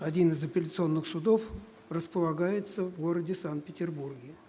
один из апелляционных судов располагается в городе санкт-петербурге